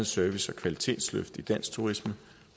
service og kvalitetsløft i dansk turisme